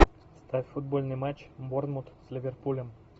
ставь футбольный матч борнмут с ливерпулем